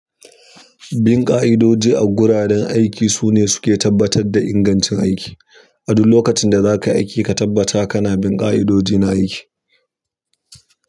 Bin ƙa'idoji a guraren aiki su ne suke tabbatar da ingancin aiki. A duk lokacin da zakan yi aiki ka tabbata kana bin ƙa'idojin na aiki.